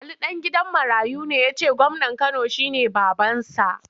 Ali ɗan gidan marayu ne ya ce gwamnan Kano shi ne babansa.